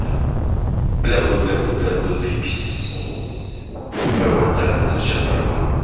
блябуду блябуду блябуду заебись вот так вот звучит барабан